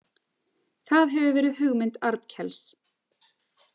Það hefur verið hugmynd Arnkels.